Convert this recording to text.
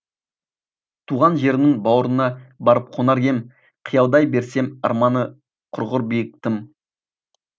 туған жерімнің бауырына барып қонар ем қиялдай берсем арманы құрғыр биік тым